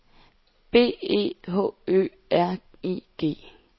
B E H Ø R I G